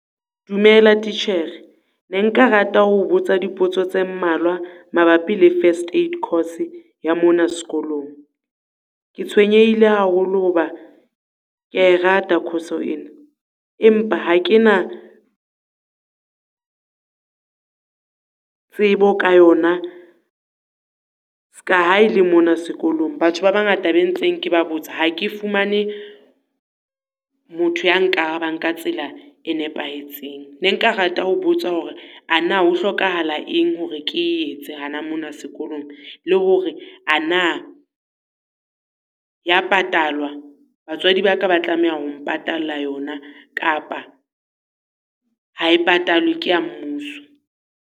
Dumela titjhere, ne nka rata ho o botsa dipotso tse mmalwa mabapi le first aid course ya mona sekolong? Ke tshwenyehile haholo ho ba ke ya rata course-o ena, empa ha kena tsebo ka yona, ska ha e le mona sekolong. Batho ba bangata ba ntseng ke ba botsa ha ke fumane motho ya nkarabang ka tsela e nepahetseng. Ne nka rata ho botsa hore ana ho hlokahala eng hore ke e etse hona mona sekolong? Le hore ana ya patalwa, batswadi ba ka ba tlameha ho mpatalla yona, kapa ha e patalwe ke ya mmuso?